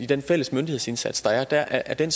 den fælles myndighedsindsats der der er er den